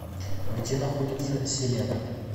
где находится селена